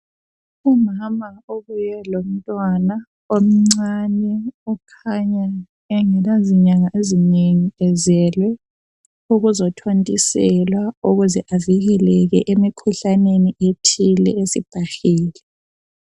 Umama obuye lomntwana omncane okhanya engela nyanga ezinengi ezelwe ukuzothontiselwa ukuze avikeleke emikhuhlaneni eminengi esibhahile.